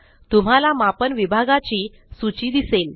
तुम्हाला मापन विभागाची सूची दिसेल